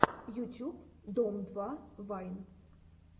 ютюб дом два вайн